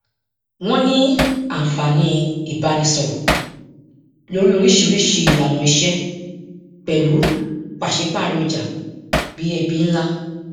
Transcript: wọn ní àǹfààní ìbánisọrọ lórí oríṣiríṣi ìlànà iṣẹ pẹlú pàsípàrọ ọjà bí ẹbí ńlá